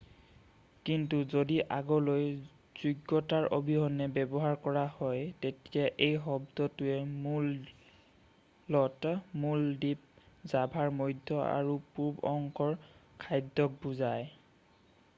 কিন্তু যদি আগলৈ যোগ্যতাৰ অবিহনে ব্যৱহাৰ কৰা হয় তেতিয়া এই শব্দটোৱে মূলত মূল দ্বীপ জাভাৰ মধ্য আৰু পূৰ্ব অংশৰ খাদ্যক বুজায়